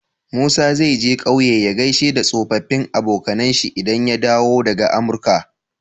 Musa zai je ƙauye ya gaishe da tsofafin abonkAnan shi idan ya dawo daka amurka?